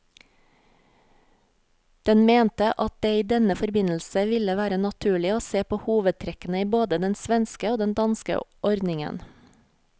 Den mente at det i denne forbindelse ville være naturlig å se på hovedtrekkene i både den svenske og den danske ordningen.